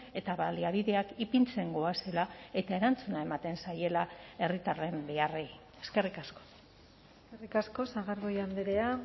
eta baliabideak ipintzen goazela eta erantzuna ematen zaiela herritarren beharrei eskerrik asko eskerrik asko sagardui andrea